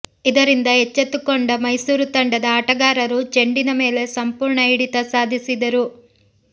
ಇದರಿಂದ ಎಚ್ಚೆತ್ತುಕೊಂಡ ಮೈಸೂರು ತಂಡದ ಆಟಗಾರರು ಚೆಂಡಿನ ಮೇಲೆ ಸಂಪೂರ್ಣ ಹಿಡಿತ ಸಾಧಿಸಿದರು